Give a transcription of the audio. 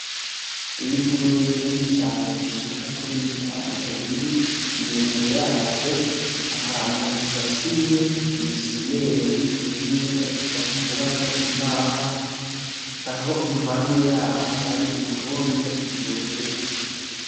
Ibigurubi vyinshi cane bishika kuri bitanu biri mu nzu yavyo, ahantu hasasiye ibisiyeri bimwe bakuramwo imbaho, aho iruhande yaho hari uruhome rwererana.